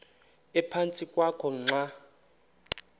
ephantsi kwakho xa